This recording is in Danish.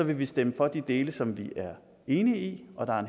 vi stemme for de dele som vi er enige i og der er